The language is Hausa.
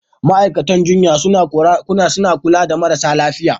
Ma'aikatan jinya suna kula da marasa lafiya.